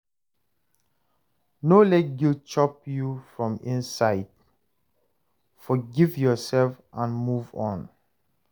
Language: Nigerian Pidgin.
No let guilt chop you from inside, forgive yourself and move on